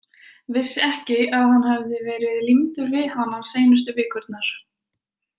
Vissi ekki að hann hafði verið límdur við hana seinustu vikurnar.